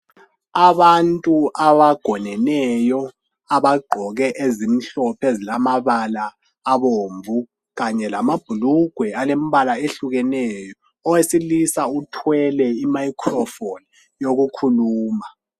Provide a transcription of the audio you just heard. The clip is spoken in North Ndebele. Abantu abagoneneyo abagqoke ezimhlophe ezilamabala abomvu kanye lamabhulugwe alembala ehlukeneyo owesilisa uthwele imiscrophone yokukhuluma .